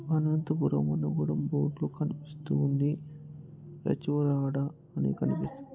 అనంతపురం బోడ్లు కనిపిస్తూ ఉంది అని కనిపిస్తూ--